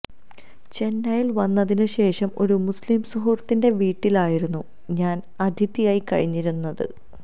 ചെന്നൈയില് വന്നതിന് ശേഷം ഒരു മുസ്ലിം സുഹൃത്തിന്റെ വീട്ടിലായിരുന്നു ഞാന് അതിഥിയായി കഴിഞ്ഞിരുന്നത്